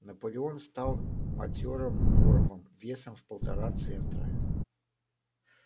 наполеон стал матёрым боровом весом в полтора центра